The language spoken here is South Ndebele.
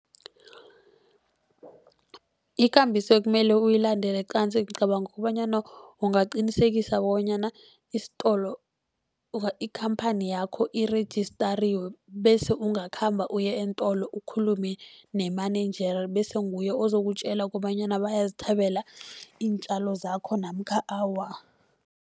Ikambiso ekumele uyilandele qanzi, ngicabanga kobanyana ungaqinisekisa kobanyana isitolo ikhamphani yakho irejistariwe. Bese ungakhamba uye eentolo ukhulume ne-manager, bese nguye ozokutjela kobanyana bayazithabela iintjalo zakho namkha awa.